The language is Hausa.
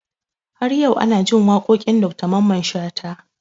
Har yau ana jin waƙoƙin Dr Mamman Shatta